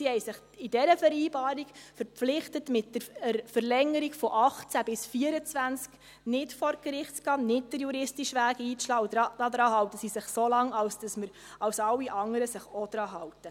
Sie haben sich in dieser Vereinbarung verpflichtet, mit der Verlängerung von 2018 bis 2024 nicht vor Gericht zu gehen, nicht den juristischen Weg einzuschlagen, und daran halten sie sich so lange, wie sich auch alle anderen daran halten.